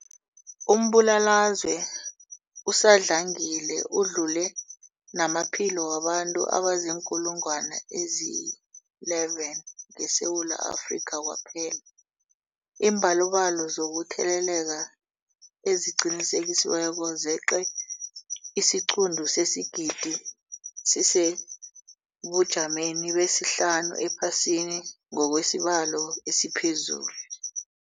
Umbulalazwe usadlangile udlule namaphilo wabantu abaziinkulungwana ezi-11 ngeSewula Afrika kwaphela. Iimbalobalo zokutheleleka eziqinisekisiweko zeqe isiquntu sesigidi, sisesebujameni besihlanu ephasini ngokwesibalo esiphezulu.